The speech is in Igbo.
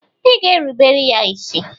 Ị ga-erubere ya isi.